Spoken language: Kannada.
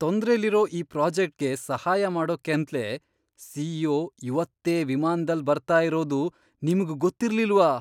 ತೊಂದ್ರೆಲಿರೋ ಈ ಪ್ರಾಜೆಕ್ಟ್ಗೆ ಸಹಾಯ ಮಾಡೋಕ್ಕಂತ್ಲೇ ಸಿ.ಇ.ಒ. ಇವತ್ತೇ ವಿಮಾನ್ದಲ್ಲ್ ಬರ್ತಾ ಇರೋದು ನಿಮ್ಗ್ ಗೊತ್ತಿರ್ಲಿಲ್ವಾ?!